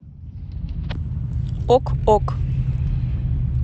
ок ок